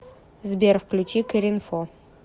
сбер включи кэринфо